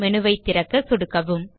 menu ஐ திறக்க சொடுக்கவும்